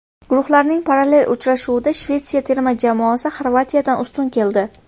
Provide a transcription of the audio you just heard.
Guruhning parallel uchrashuvida Shvetsiya terma jamoasi Xorvatiyadan ustun keldi.